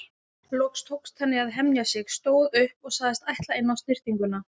Loks tókst henni að hemja sig, stóð upp og sagðist ætla inn á snyrtinguna.